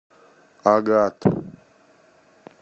агат